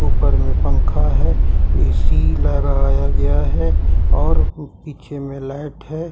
ऊपर में पंखा है ए_सी लगाया गया है और पीछे में लाइट है ।